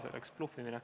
See oleks bluffimine.